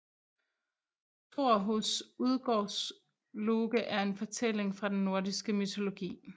Thor hos Udgårdsloke er en fortælling fra den nordiske mytologi